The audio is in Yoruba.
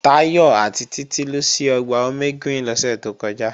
Táyọ̀ àti Títí lọ sí Ọgbà Omegreen lọ́sẹ̀ tó kọjá